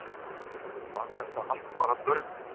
Var þetta allt bara draumur?